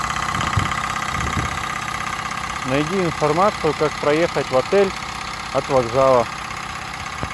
найди информацию как проехать в отель от вокзала